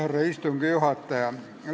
Härra istungi juhataja!